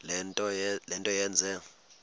le nto yenze